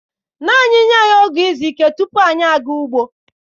Naanị nye anyị oge izu ike tupu anyị aga ugbo.